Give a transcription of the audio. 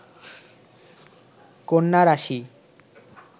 কন্যা রাশি